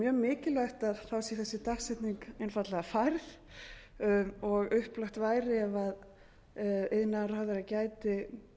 mjög mikilvægt að þá sé þessi dagsetning einfaldlega færð og upplagt væri ef iðnaðarráðherra gæti